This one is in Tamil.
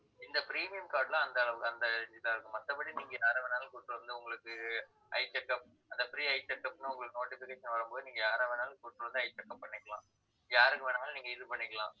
இந்த premium card ல அந்த அளவுக்கு அந்த age தான் இருக்கும் மத்தபடி நீங்க யாரை வேணாலும் கூட்டிட்டு வந்து, உங்களுக்கு eye checkup அந்த free eye checkup ன்னு உங்களுக்கு notification வரும்போது நீங்க யார வேணாலும் கூட்டிட்டு வந்து eye checkup பண்ணிக்கலாம் யாருக்கு வேணாலும் நீங்க இது பண்ணிக்கலாம்